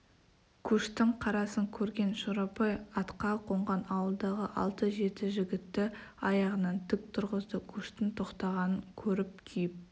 көштің қарасын көрген шорабай атқа қонған ауылдағы алты-жеті жігітті аяғынан тік тұрғызды көштің тоқтағанын көріп күйіп